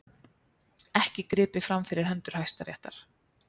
Ekki gripið fram fyrir hendur Hæstaréttar